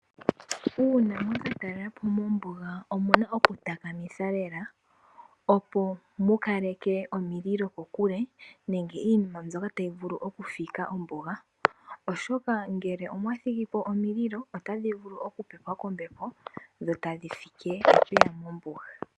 Uuna mwa ka talelapo mombuga, omuna oku takamitha lela, opo mu kaleke omililo kokule, nenge iinima mbyoka tayi vulu oku fika ombuga, oshoka ngele omwa thigipo omililo ota dhi vulu oku pepwa kombepo dho tadhi fike epeya mombuga.